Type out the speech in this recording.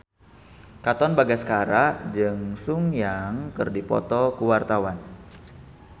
Katon Bagaskara jeung Sun Yang keur dipoto ku wartawan